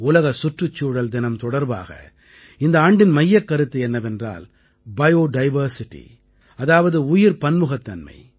உலக சுற்றுச்சூழல் தினம் தொடர்பாக இந்த ஆண்டின் மையக்கருத்து என்னவென்றால் பயோ டைவர்சிட்டி அதாவது உயிர் பன்முகத்தன்மை